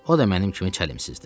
O da mənim kimi çəlimsizdir.